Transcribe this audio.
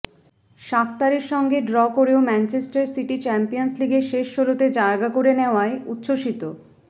শাখতারের সঙ্গে ড্র করেও Manchester City Champions লিগের শেষ ষোলোতে জায়গা করে নেওয়ায় উচ্ছ্বসিত